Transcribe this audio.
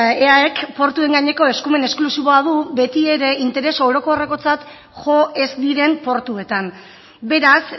eaek portuen gaineko eskumen esklusiboa du beti ere interes orokorrekotzat jo ez diren portuetan beraz